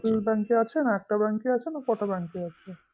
bank এ আছে না একটা bank এ আছে না কটা bank এ আছে